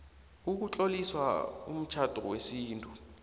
ukutlolisa umtjhado wesintu